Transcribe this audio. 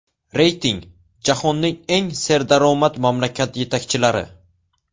Reyting: Jahonning eng serdaromad mamlakat yetakchilari.